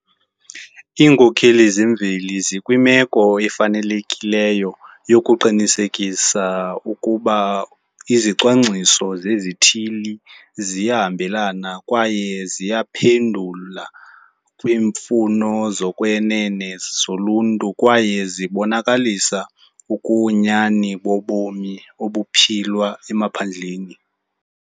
Iinkokheli zemveli zikwimeko efanelekileyo yokuqinisekisa ukuba izicwangciso zezithili ziyahambelana kwaye ziyaphendula kwiimfuno zokwenene zoluntu kwaye zibonakalisa ubunyani bobomi obuphilwa emaphandleni.